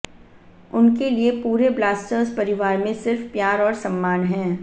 उनके लिए पूरे ब्लास्टर्स परिवार में सिर्फ प्यार और सम्मान है